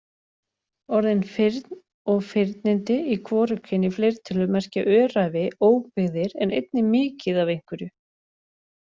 Orðin firn og firnindi í hvorugkyni fleirtölu merkja öræfi, óbyggðir en einnig mikið af einhverju.